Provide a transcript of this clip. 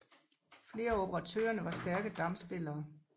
Flere af operatørerne var stærke damspillere